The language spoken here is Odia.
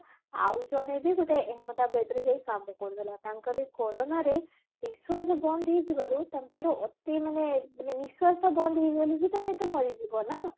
ଆଉ ଜଣେ ବି ଗୋଟେ ଅହମଦାବାଦରେ ଯାଇ କାମ କରୁଥିଲା ତାଙ୍କର କୋରୋନା ରେ ନିଶ୍ଵାସ ବନ୍ଦ ହେଇଯିବାରୁ ତାଙ୍କର ଅତି ମାନେ ମାନେ ନିଶ୍ଵାସ ଟା ବନ୍ଦ ହେଇଗଲେ ତମେ ହିଁ ତ ମରିଯିବ ନା